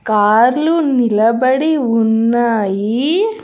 కార్లు నిలబడి ఉన్నాయి.